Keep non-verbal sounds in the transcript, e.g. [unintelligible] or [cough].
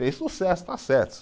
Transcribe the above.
Fez sucesso [unintelligible]